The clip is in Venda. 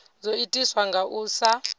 zwo itiswa nga u sa